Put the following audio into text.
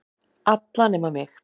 Alla nema mig.